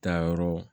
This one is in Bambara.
Taayɔrɔ